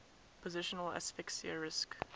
positional asphyxia risk